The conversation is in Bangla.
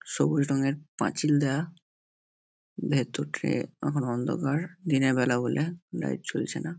সবুজ রঙের পাঁচিল দেওয়া মেট্রো ট্রেন এখন অন্ধকার। দিনের বেলা বলে লাইট জ্বলছে না।